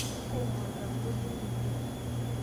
Kaingorita kulo dein oleng